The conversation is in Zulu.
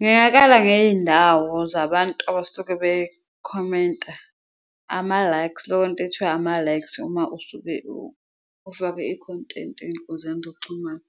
Ngakala ngeyindawo zabantu abasuke bekhomenta, ama-likes leyo nto ethiwa ama-likes uma usuke ufake i-content ey'nkundleni zokuxhumana,